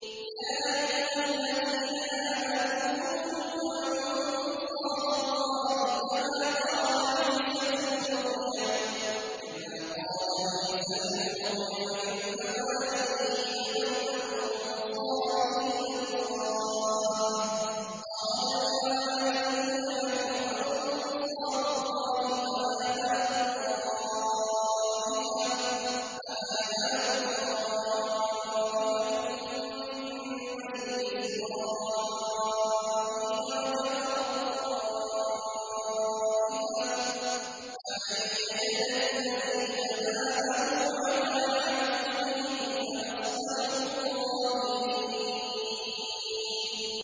يَا أَيُّهَا الَّذِينَ آمَنُوا كُونُوا أَنصَارَ اللَّهِ كَمَا قَالَ عِيسَى ابْنُ مَرْيَمَ لِلْحَوَارِيِّينَ مَنْ أَنصَارِي إِلَى اللَّهِ ۖ قَالَ الْحَوَارِيُّونَ نَحْنُ أَنصَارُ اللَّهِ ۖ فَآمَنَت طَّائِفَةٌ مِّن بَنِي إِسْرَائِيلَ وَكَفَرَت طَّائِفَةٌ ۖ فَأَيَّدْنَا الَّذِينَ آمَنُوا عَلَىٰ عَدُوِّهِمْ فَأَصْبَحُوا ظَاهِرِينَ